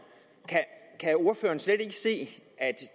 kan ordføreren slet ikke se at